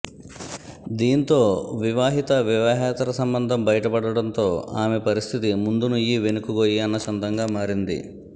దీంతో వివాహిత వివాహేతర సంబంధం బయటపడడంతో ఆమె పరిస్థితి ముందు నుయ్యి వెనుక గొయ్యి అన్న చందంగా మారింది